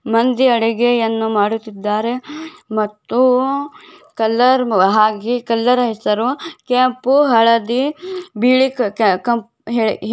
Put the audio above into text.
ಇಲ್ಲಿ ಅಡುಗೆಯನ್ನು ಮಾಡುತಿದ್ದರೆ ಮತ್ತು ಕಲರ್ ಹಾಗು ಕಲರ್ ಹೆಸರು ಕೆಂಪು ಹಳದಿ ಬಿಳಿ ಕಲರ್